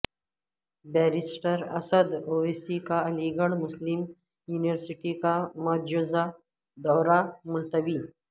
barrister Asad Owaisi کا Aligarh Muslim University کا مجوزہ دورہ ملتوی